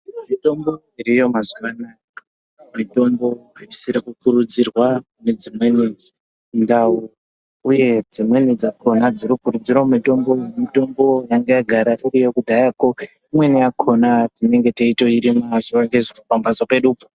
Mitombo iriyo mazuva anoaya mitombo isiri kukuridzirwa kune dzimweni ndau uye dzimweni dzakona dziri kuridzirwa mitombo yanga yagara iriyo kudyaya ko imweni yakona tinenge teyitoyirima zuva nezuva.